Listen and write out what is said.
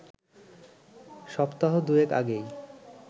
সপ্তাহ দুয়েক আগেই